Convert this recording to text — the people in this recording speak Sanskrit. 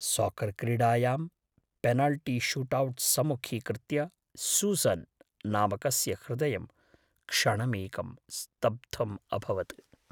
साकर् क्रीडायां पेनल्टीशूटौट् सम्मुखीकृत्य सूसन् नामकस्य हृदयं क्षणमेकं स्तब्धम् अभवत्।